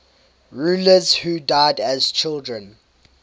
rulers who died as children